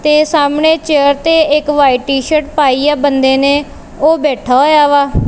ਤੇ ਸਾਹਮਣੇ ਚੇਅਰ ਤੇ ਇੱਕ ਵਾਈਟ ਸ਼ਰ ਪਾਈ ਆ ਬੰਦੇ ਨੇ ਉਹ ਬੈਠਾ ਹੋਇਆ ਵਾ।